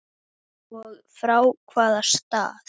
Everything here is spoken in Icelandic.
Og frá hvaða stað?